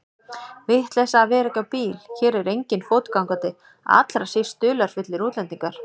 Vitleysa að vera ekki á bíl, hér er enginn fótgangandi, allra síst dularfullir útlendingar.